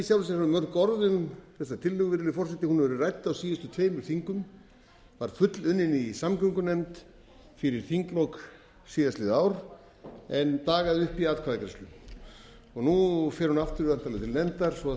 sjálfu sér að hafa mörg orð um þessa tillögu virðulegi forseti hún hefur verið rædd á síðustu tveimur þingum var fullunnin í samgöngunefnd fyrir þinglok síðastliðið ár en dagaði uppi í atkvæðagreiðslu nú fer hún aftur væntanlega til nefndar svo hún